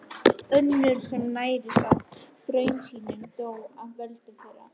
Önnur sem nærðist á draumsýnum og dó af völdum þeirra.